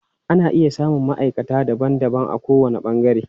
Ana iya samun maʼaikata daban daban a ko wani ɓangare.